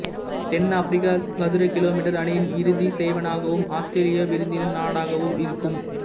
தென்னாப்பிரிக்கா சதுர கிலோமீட்டர் அணியின் இறுதிசெய்வானாகவும் ஆஸ்த்திரேலியா விருந்தினர் நாடாகவும் இருக்கும்